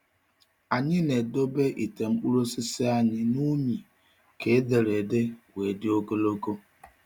Anyị na-edobe ite mkpụrụ osisi anyị na unyi ka ederede wee dị ogologo.